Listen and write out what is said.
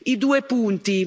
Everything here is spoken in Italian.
I due punti.